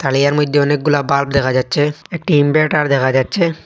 আলিয়ার মইদ্যে অনেকগুলা বাল্ব দেখা যাচ্ছে একটি ইনভের্টার দেখা যাচ্ছে।